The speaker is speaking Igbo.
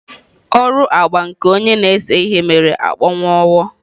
Ọrụ agba nke onye na-ese ihe mere akpọnwụwo.